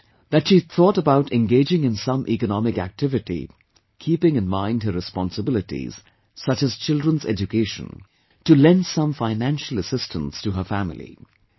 She wrote, that she thought about engaging in some economic activity keeping in mind her responsibilities such as children's education, to lend some financial assistance to her family